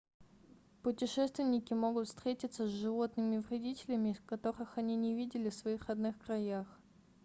путешественники могут встретиться с животными-вредителями которых они не видели в своих родных краях